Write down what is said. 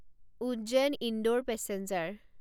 Ujjain Indore passenger